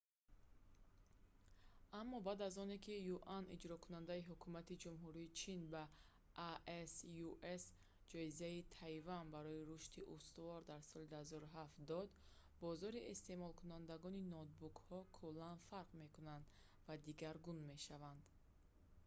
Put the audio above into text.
аммо баъд аз оне ки юани иҷрокунандаи ҳукумати ҷумҳурии чин ба asus ҷоизаи тайван барои рушди устувор дар соли 2007 дод бозори истеъмолкунандагони ноутбукҳо куллан фарқ мекунад ва дигаргун мешавад